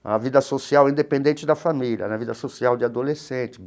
a vida social, independente da família, né a vida social de adolescente.